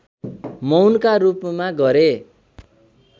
मौनका रूपमा गरे